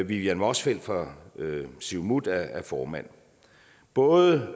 vivian motzfeldt fra siumut er formand både